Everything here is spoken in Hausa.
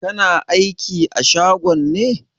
Kana aiki a shagon ne?